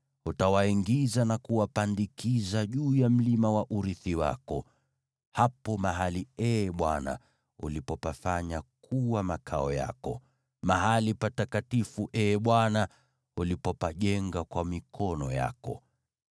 Utawaingiza na kuwapandikiza juu ya mlima wa urithi wako: hapo mahali, Ee Bwana , ulipopafanya kuwa makao yako, mahali patakatifu, Ee Bwana , ulipopajenga kwa mikono yako.